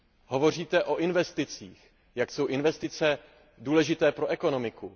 Hovoříte o investicích, jak jsou investice důležité pro ekonomiku.